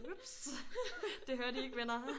Ups det hørte i ikke venner